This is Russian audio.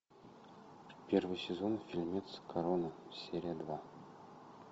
первый сезон фильмец корона серия два